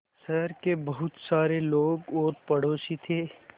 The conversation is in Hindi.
शहर के बहुत सारे लोग और पड़ोसी थे